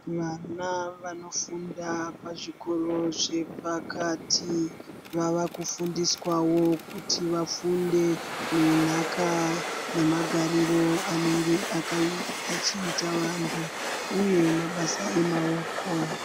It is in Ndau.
Vana vafundawo pazvikora zvepakati vava kufundiswa wo kuti vafunde zvenhaka nemagariro anenge achiita vanhu uye mabasa emaoko.